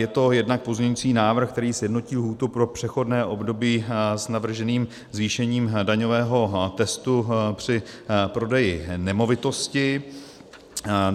Je to jednak pozměňovací návrh, který sjednotí lhůtu pro přechodné období s navrženým zvýšením daňového testu při prodeji nemovitosti.